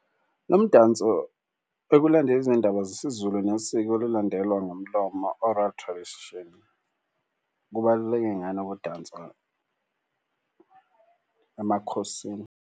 Lo mdanso ekulandeni izindaba zesiZulu nesiko elilandelwa ngomlomo oral tradition. Kubaluleke ngani ukudansa emakhosini?